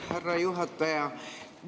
Härra juhataja!